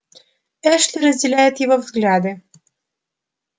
эшли разделяет его взгляды